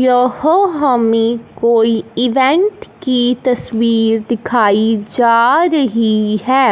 यह हमें कोई इवेंट की तस्वीर दिखाई जा रही है।